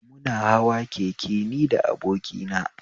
Muna hawa keke ni da abokina